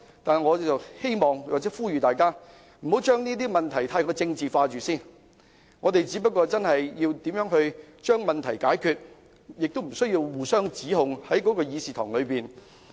但是，我希望並呼籲大家，不要將問題太政治化，我們需要將問題解決，亦不需要在議事廳內互相指控。